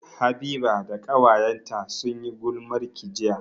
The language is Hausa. Habiba da ƙawayenta sun yi gulmarki jiya